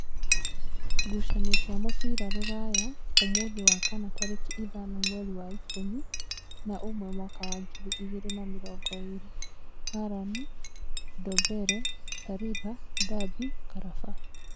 Ngucanio cia mũbira Rūraya mũũthĩ wa kana tarĩki ithano mweri wa ikũmi na ũmwe mwaka wa ngiri igĩrĩ na mĩrongo ĩrĩ: Harani, Ndombere, Sariba, Ndambi, Karaba